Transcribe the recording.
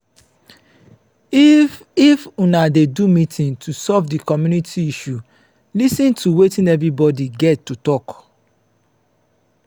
if if una dey do meeting to solve di community issue lis ten to wetin everybody get to talk